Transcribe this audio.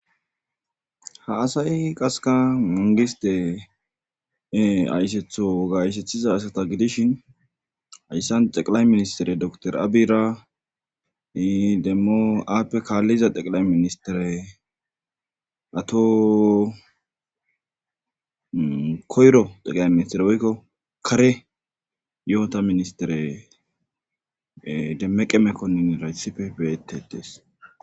ha asayi qaseka mangistee aysetho wogayseththiza asata gidishin ayssan xeqilay ministere doktor aabira demmo aappe kaalliza xeqilay ministere ato koyro xeqila ministere woykko kare yo7ota ministere demmeqemekkonin raytsife beetetees